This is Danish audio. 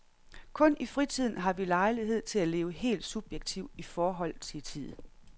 Kun i fritiden har vi lejlighed til at leve helt subjektivt i forhold til tid.